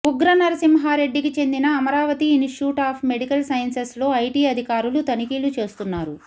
ఉగ్రనరసింహారెడ్డికి చెందిన Amaravati institute of medical సైన్సెస్లో IT అధికారులు తనిఖీలు చేస్తున్నారు